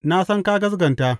Na san ka gaskata.